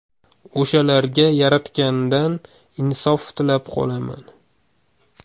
O‘shalarga yaratgandan insof tilab qolaman.